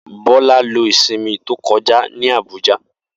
Bola lo isinmi to koja ni Abuja.